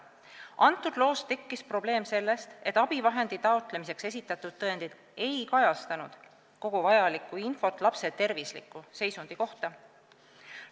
Antud loos tekkis probleem sellest, et abivahendi taotlemiseks esitatud tõendid ei kajastanud kogu vajalikku infot lapse tervisliku seisundi kohta.